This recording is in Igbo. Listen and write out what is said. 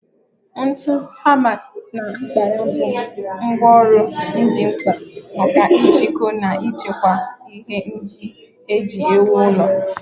Ntu, hama, na mkpara bụ ngwá ọrụ dị mkpa maka ijikọ na ichekwa ihe ndị e ji ewu ụlọ